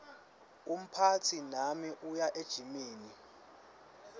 umphatsi nami uya ejimini